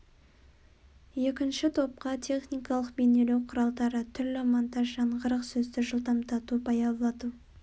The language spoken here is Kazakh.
екінші топқа техникалық бейнелеу құралдары түрлі монтаж жаңғырық сөзді жылдамдату баяулату